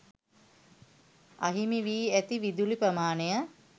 අහිමි වී ඇති විදුලි ප්‍රමාණය